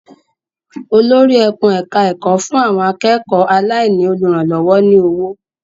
Olórí ẹkùn-ẹ̀ka-ẹ̀kọ́ fún àwọn akẹ́kọ̀ọ́ aláìní olùrànlọ́wọ́ ní owó.